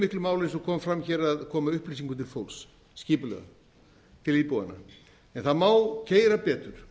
miklu máli eins og kom fram hér að koma upplýsingum til fólks skipulega til íbúanna en það má keyra betur